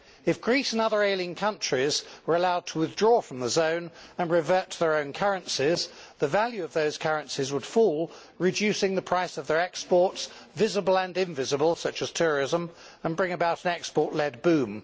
If Greece and other ailing countries were allowed to withdraw from the zone and revert to their own currencies, the value of those currencies would fall, reducing the price of their exports visible and invisible such as tourism, and bring about an export led boom.